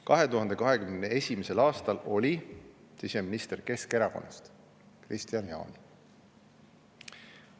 2021. aastal oli siseminister Keskerakonnast, Kristian Jaani.